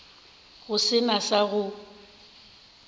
go se na sa go